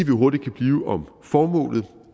hurtigt kan blive om formålet